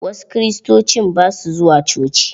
Wasu Kiristocin ba su zuwa coci.